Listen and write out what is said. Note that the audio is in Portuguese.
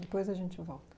Depois a gente volta.